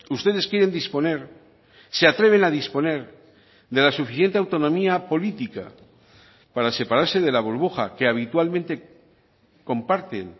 ustedes quieren disponer se atreven a disponer de la suficiente autonomía política para separarse de la burbuja que habitualmente comparten